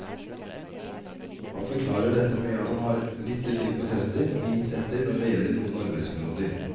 Han forklarer dette med at han har lyttet til protester og gitt etter når det gjelder noen arbeidsområder.